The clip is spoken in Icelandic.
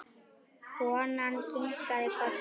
Konan kinkaði kolli.